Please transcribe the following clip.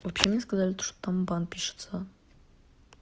вообще мне сказали то что там бан пишется